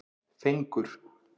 Fengur